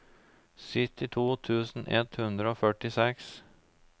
syttito tusen ett hundre og førtiseks